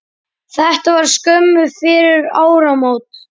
Þetta var skömmu fyrir áramót.